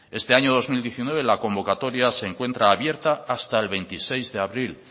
este año dos mil diecinueve la convocatoria se encuentra abierta hasta el veintiséis de abril